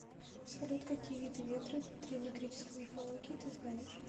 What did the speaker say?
салют какие виды ветры в древнегреческой мифологии ты знаешь